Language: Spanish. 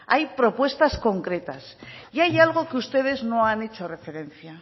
hay propuestas concretas y hay algo que ustedes no han hecho referencia